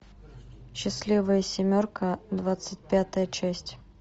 счастливая семерка двадцать пятая часть